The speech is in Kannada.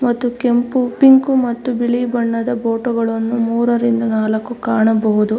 ಮತ್ತು ಕೆಂಪು ಪಿಂಕು ಮತ್ತು ಬಿಳಿ ಬಣ್ಣದ ಬೋಟೊ ಗಳನ್ನು ಮೂರರಿಂದ ನಾಲಕ್ಕು ಕಾಣಬಹುದು .